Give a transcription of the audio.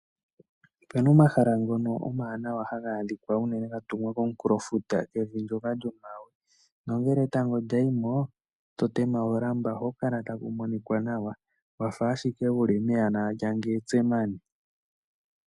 Opena omahala ngono omawanawa haga adhikwa unene ga tungwa komunkulofuta, kevi ndyoka lyoma we. Nongele etango lya yimo, to tema olamba, ohaku kala tangu monika nawa, wafa ashike wuli mehala lyangetsemani.